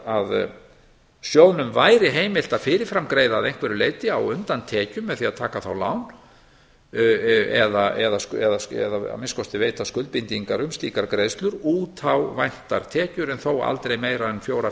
að sjóðnum væri heimilt að fyrir fram greiða að einhverju leiti á undan tekjum með því að taka þá lán eða minnsta kosti veita skuldbindingar um slíkar greiðslur út á væntar tekjur en þó aldrei meira en fjóra